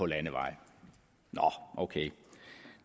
landeveje nå ok